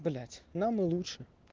блять нам и лучше